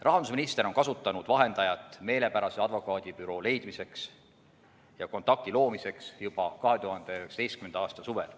Rahandusminister on kasutanud vahendajat meelepärase advokaadibüroo leidmiseks ja kontakti loomiseks juba 2019. aasta suvel.